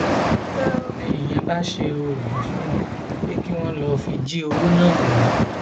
ní ìyẹn bá ṣe oògùn fún wọn pé kí wọn lọọ fi jí owó náà wá